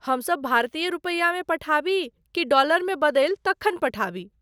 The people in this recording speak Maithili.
हमसभ भारतीय रूपैयामे पठाबी कि डॉलरमे बदलि तखन पठाबी।